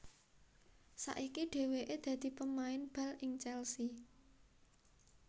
Saiki dhèwèké dadi pemain bal ing Chelsea